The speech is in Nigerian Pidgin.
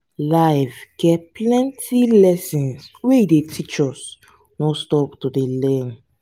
life get plenty lessons wey e dey teach us no stop to dey learn.